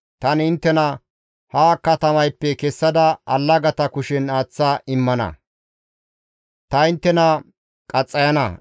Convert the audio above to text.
Tani inttena ha katamayppe kessada allagata kushen aaththa immana; ta inttena qaxxayana.